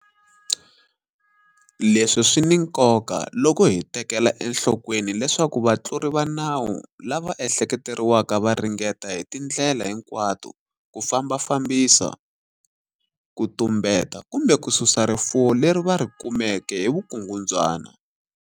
Leswi swi ni nkoka loko hi tekela enhlokweni leswaku vatluri va nawu lava ehleketeriwaka va ringeta hi tindlela hinkwato ku fambafambisa, ku tumbeta kumbe ku susa rifuwo leri va ri kumeke hi vukungundzwana.